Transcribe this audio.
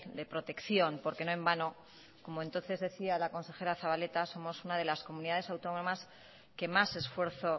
de protección porque no en vano como entonces decía la consejera zabaleta somos una de las comunidades autónomas que más esfuerzo